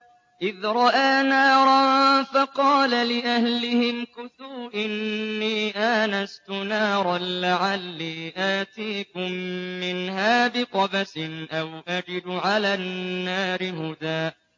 إِذْ رَأَىٰ نَارًا فَقَالَ لِأَهْلِهِ امْكُثُوا إِنِّي آنَسْتُ نَارًا لَّعَلِّي آتِيكُم مِّنْهَا بِقَبَسٍ أَوْ أَجِدُ عَلَى النَّارِ هُدًى